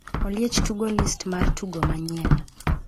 Oliech tugo list mar tugo manyien